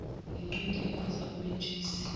yinqindi eqhwiza umentshisi